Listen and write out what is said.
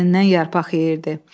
Əlindən yarpaq yeyirdi.